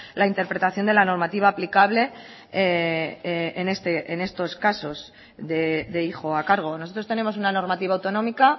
la interpretación de la normativa aplicable en estos casos de hijo a cargo nosotros tenemos una normativa autonómica